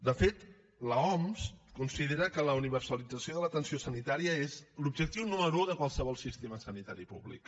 de fet l’oms considera que la universalització de l’atenció sanitària és l’objectiu número u de qualsevol sistema sanitari públic